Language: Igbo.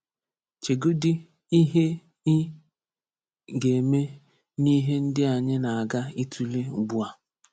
Chegodị ihe ị ga-eme n’ihe ndị anyị na-aga ịtụle ugbu a.